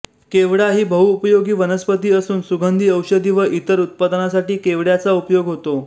केवडा ही बहुउपयोगी वनस्पती असून सुगंधी औषधी व इतर उत्पादनासाठी केवडय़ाचा उपयोग होतो